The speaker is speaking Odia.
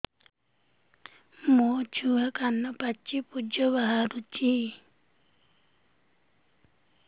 ମୋ ଛୁଆ କାନ ପାଚି ପୂଜ ବାହାରୁଚି